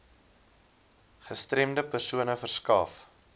gestremde persone verskaf